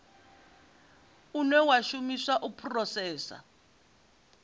une wa shumiswa u phurosesa